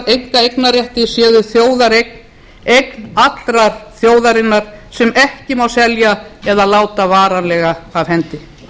einkaeignarrétti séu þjóðareign eign allrar þjóðarinnar sem ekki má selja eða láta varanlega af hendi